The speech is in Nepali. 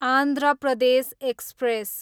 आन्ध्र प्रदेश एक्सप्रेस